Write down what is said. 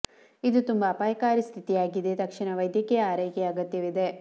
ಇದು ತುಂಬಾ ಅಪಾಯಕಾರಿ ಸ್ಥಿತಿಯಾಗಿದೆ ಮತ್ತು ತಕ್ಷಣದ ವೈದ್ಯಕೀಯ ಆರೈಕೆಯ ಅಗತ್ಯವಿದೆ